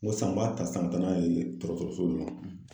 N ko san, n ba ta san, n be taa n'a ye kɛrɛfɛ nunnu na.